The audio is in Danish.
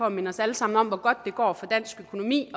at minde os alle sammen om hvor godt det går for dansk økonomi